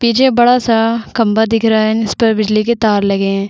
पीछे बड़ा सा खम्बा दिख रहा है उस पर बिजली के तार लगे है।